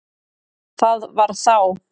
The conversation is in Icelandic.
Það var þá